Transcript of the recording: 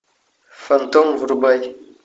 фантом врубай